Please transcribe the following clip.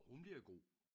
Hun bliver god